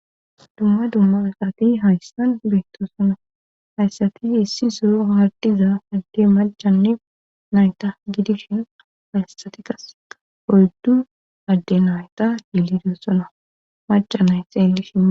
Dumma dumma aqaati haystan beynto sona hayssati issi soro ardiza hagge majanne nayta gidishin hayssatikkas oyddu adde nayta yilidossona macca nay xeellishin.